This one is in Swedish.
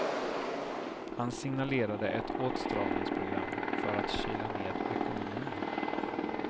Han signalerade ett åtstramningsprogram för att kyla ned ekonomin.